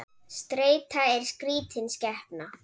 Streita er skrítin skepna.